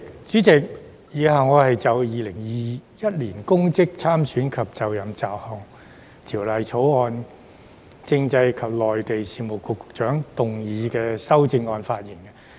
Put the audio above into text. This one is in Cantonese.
主席，以下我會就《2021年公職條例草案》，政制及內地事務局局長動議的修正案發言。